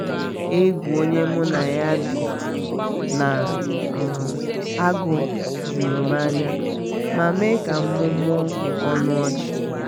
egwu onye mụ na ya bi na um agụ jụrụ m anya ma me ka mụmụọ ọnụ ọchị